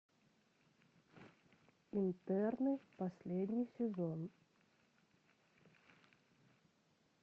интерны последний сезон